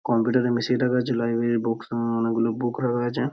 কম্পিউটারের মেশিন -টা রয়েছে লাইব্রেরির বুকস আহ অনেকগুলো বুক রাখা আছে।